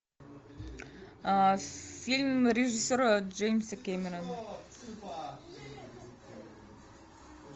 фильм режиссера джеймса кэмерона